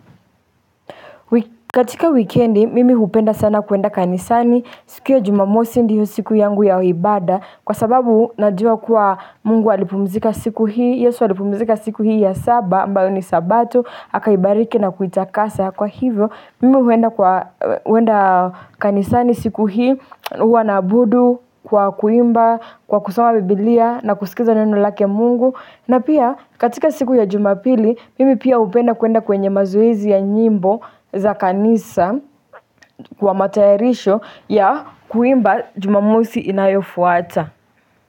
Katika wikendi mimi hupenda sana kuenda kanisani. Siku ya jumamosi ndiyo siku yangu ya ibada. Kwa sababu najua kuwa mungu alipumzika siku hii, Yesu alipumzika siku hii ya saba ambalo ni sabato akaibariki na kuitakasa kwa hivyo, mimi huenda kanisani siku hii, huwa naabudu kwa kuimba, kwa kusoma biblia na kusikiliza neno lake mungu. Na pia katika siku ya jumapili mimi pia hupenda kuenda kwenye mazoezi ya nyimbo za kanisa kwa matayarisho ya kuimba jumamosi inayofuata.